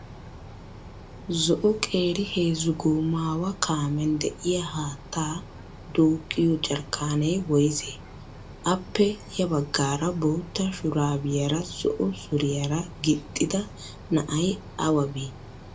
Zo''o qeeri heezzu goomaawa kaamen de''iyaa haatta duuqqiyoo jarkkaanee woyisee? Appe ya baggara bootta shuraabiyaara zo''o suriyaara gixxida na'ay awa bii?